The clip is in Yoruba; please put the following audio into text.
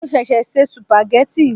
Mo ṣẹ̀ṣẹ̀ se sùpàgẹ́tì.